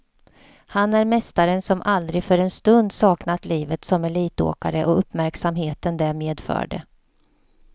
Han är mästaren som aldrig för en stund saknat livet som elitåkare och uppmärksamheten det medförde.